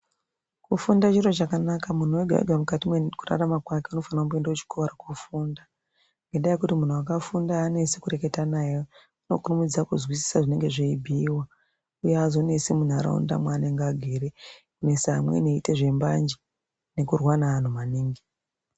Kufunda chiro chakanaka muntu wega wega mukati mwekurarama kwake unofana kumboenda kuchikora kofunda ngenda yekuti muntu wakafunda aanesi kureketa naye unokurumidza kuzwisisa zvinenge zveibhuyiwa uye aazonesi muntaraunda mwaanenge agere misa amweni eita zvembanje nekurwa neantu maningi.